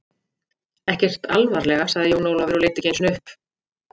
Ekkert alvarlega, sagði Jón Ólafur og leit ekki einu sinni upp.